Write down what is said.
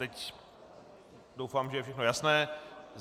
Teď doufám, že je všechno jasné.